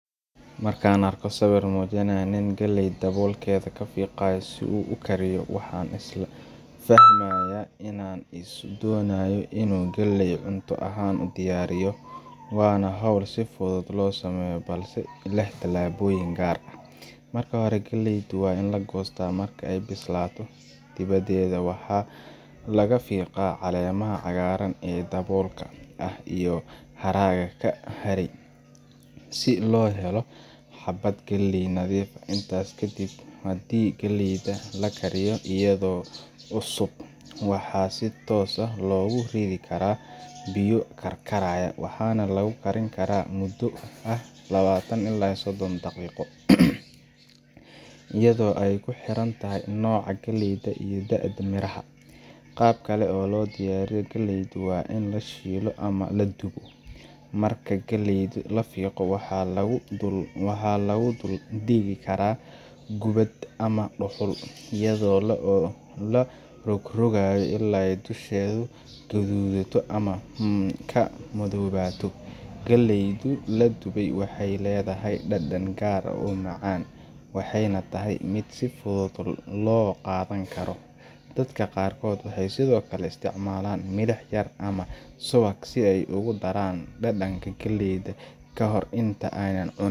Markan arko sawir mujinaya nin galeey dawolkeda kafiqayo, si uu ukariyo waxa islamka fahmaya inan donayo inu galeey cunta ahan udiyariyo, wana howl si fudud lodiyarinayo balse leh talaboyin gaar ah, marka hore galeeydu wa in lagoysta marka ay bislato diwadeda waxa lagafigaa calemaha cagaraan ee dabolka ah, iyo haraga kaharay si lohelo habad galeey nadiuf ah intas kadib hadhii galeyda lakariyo iyado cusub waxa si toos ah loguridi karaa biyo karkaraya waxana lagukarinkaraa mudo lawataan ila iyo sodon dagigo, iyado ay kuhirantahay nicaa galeeyda iyo deedaha miraha gabkale oo lodiyariyo galeeyda wa in lashilo ama ladubo, marka galeeyda lafiiqo waxa laguduldigi karaa gubad amahuul iyado larogragayo ila ay dusheda gadudato ama ay kamadowato, galeeydu laduway waxay ledahay dadan gaar ah oo macan waxyna tahay mid si fudud logadankaroo, dadka gaarkodh waxay Sidhokale isticmalan milih yar ama suwaq si ay ogudaraan dadanka galeyda kahor inta aynan cunin.